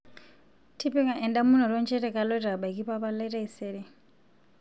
tipika endamunoto inchere kaloito abaikia mpapa lai taisere